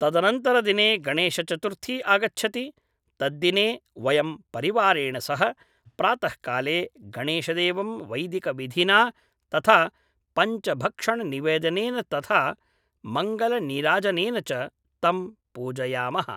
तदनन्तरदिने गणेशचतुर्थी आगच्छति, तद्दिने वयं परिवारेण सह प्रातः काले गणेशदेवं वैदिकविधिना तथा पञ्चभक्षणनिवेदनेन तथा मङ्गलनीराजनेन च तं पूजयामः